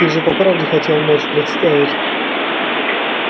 ты же по правде хотел ночь представить